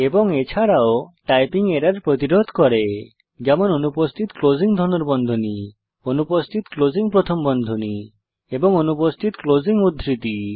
এবং এছাড়াও typing error প্রতিরোধ করে যেমন অনুপস্থিত ক্লোসিং ধনুর্বন্ধনী অনুপস্থিত ক্লোসিং প্রথম বন্ধনী এবং অনুপস্থিত ক্লোসিং উদ্ধৃতি